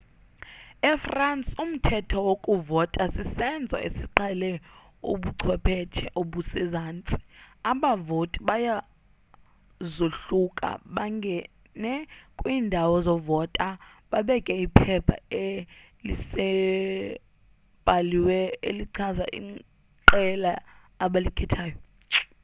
e-france umthetho wokuvota sisenzo esiqhele ubuchwepheshe obusezantsi abavoti bayazohluka bangene kwiindawo zovota babeke iphepha-eliselibhaliwe elichaza iqela abalikhethileyo